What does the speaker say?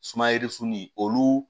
Sumayɛri suni olu